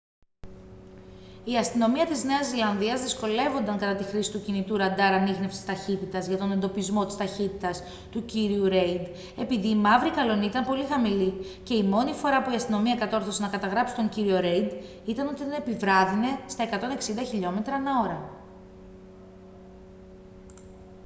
η αστυνομία της νέας ζηλανδίας δυσκολεύονταν κατά τη χρήση του κινητού ραντάρ ανίχνευσης ταχύτητας για τον εντοπισμό της ταχύτητας του κ. ρέιντ επειδή η μαύρη καλλονή ήταν πολύ χαμηλή και η μόνη φορά που η αστυνομία κατόρθωσε να καταγράψει τον κ. ρέιντ ήταν όταν επιβράδυνε στα 160km/h